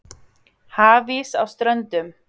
Hafís á Ströndum